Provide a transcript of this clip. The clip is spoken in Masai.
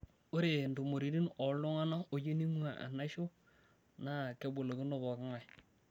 Ore ntumoritin ooltung'ana oyieu neing'uaa naisho naa kebolokino pooking'ae.